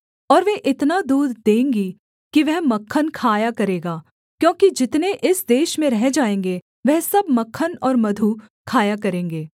और वे इतना दूध देंगी कि वह मक्खन खाया करेगा क्योंकि जितने इस देश में रह जाएँगे वह सब मक्खन और मधु खाया करेंगे